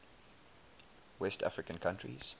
west african countries